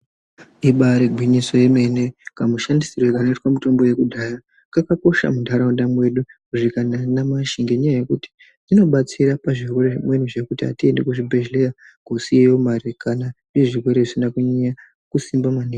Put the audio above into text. Ibayiri gwinyiso yemene kamushandisirwo kanoitwa mitombo yekudhaya kakakosha mundaraunda medu kusvika nanyamashi ngendaa yokuti inobatsira pazvirwere zvimweni zvokuti hatiendi kuzvibhedhlera kusiye mari kana izvo zvirwere zvsisine kunyanya kusimba maningi.